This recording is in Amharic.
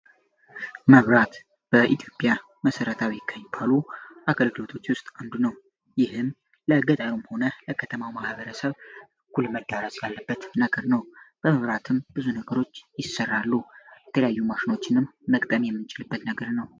መብራት በኢትዮጵያ መሠረታዊ ካኝፓሉ አከልክሎቶች ውስጥ አምዱ ነው ይህም ለእገጠሩም ሆነ ለከተማው ማህበረሰብ ኩልመዳራስ ላለበት ነገር ነው በመብራትም ብዙ ነገሮች ይሰራሉ የተለያዩ ማሽኖችንም መቅጠም የምንጭልበት ነገር ነው